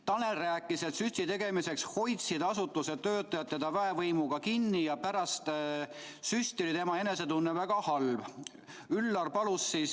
Tanel rääkis, et süsti tegemiseks hoidsid asutuse töötajad teda väevõimuga kinni ja pärast süsti oli tema enesetunne väga halb.